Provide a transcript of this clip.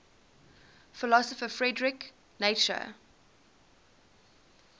philosopher friedrich nietzsche